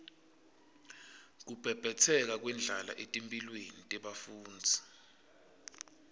kubhebhetseka kwendlala etimphilweni tebafundzi